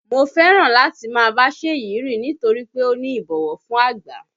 Mo fẹ́ràn láti máa bá Ṣèyí rìn nítorí pé ó ní ìbọ̀wọ̀ fún àgbà